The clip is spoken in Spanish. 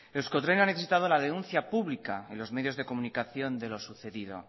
euskotren ha necesitado la denuncia pública en los medios de comunicación de lo sucedido